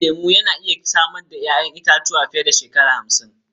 Bishiyun lemu na iya samar da 'ya'yan itatuwa fiye da shekara hamsin.